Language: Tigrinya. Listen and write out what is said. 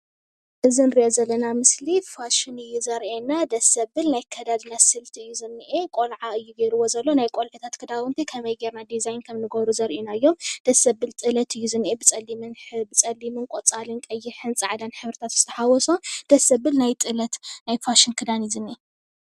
እዚ እንሪኦ ዘለና ምስሊ ፋሽን እዩ ዘርእየና። ደስ ዘብል ናይ ኣከዳድና ምስሊ እዩ ዚኒኤ ቆልዓ እዩ ገይርዎ ዘሎ ናይ ቆልዑ ክዳውንቲ ከመይ ጌርና ድዛይን ክም እንገብሮ ዘርኢ ምስሊ እዩ። ደስ ዘብል ጥሎት እዩ ዝኒኤ ብፀሊም፣ ቆፃ፣ ቀይሕን ፃዕዳን ሕብሪታት ዝተሓወሶ ደስዘብልናይ ናይ ጥለት ፍሽን ክዳን እዩ ዝኒኤ።